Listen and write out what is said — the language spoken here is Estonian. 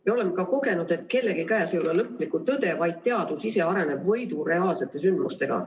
Me oleme ka kogenud, et kellegi käes ei ole lõplikku tõde, teadus ise areneb võidu reaalsete sündmustega.